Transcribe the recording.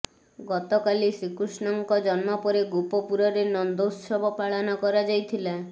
ଗତକାଲି ଶ୍ରୀକୃଷ୍ଣଙ୍କ ଜନ୍ମ ପରେ ଗୋପପୁରରେ ନନ୍ଦୋତ୍ସବ ପାଳନ କରାଯାଇଥିଲା